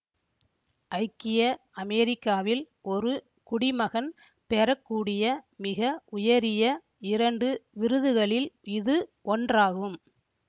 ஐக்கிய அமேரிக்காவில் ஒரு குடிமகன் பெற கூடிய மிக உயரிய இரண்டு விருதுகளில் இது ஒன்றாகும்